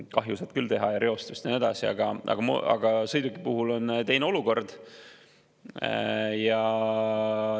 Kahju saab küll teha, reostada ja nii edasi, aga sõiduki puhul on teine olukord.